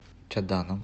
чаданом